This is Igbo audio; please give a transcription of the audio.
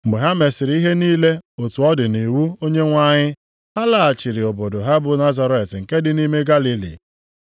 Mgbe ha mesịrị ihe niile otu ọ dị nʼiwu Onyenwe anyị, ha laghachiri obodo ha bụ Nazaret nke dị nʼime Galili.